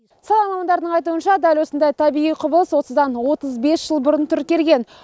сала мамандарының айтуынша дәл осындай табиғи құбылыс осыдан отыз бес жыл бұрын тіркелген